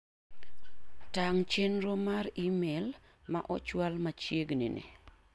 Tang' chenro mar imel ma ochwal machieg'ni ni.